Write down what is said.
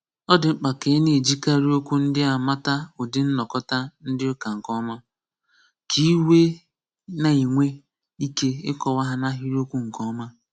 Ọ dị mkpa ka ị na-ejikarị okwu ndị a mata ụdị nnọkọta ndị ụka nke ọma, ka ị wee na-enwe ike ịkọwa ha n'ahịrịokwu nke ọma.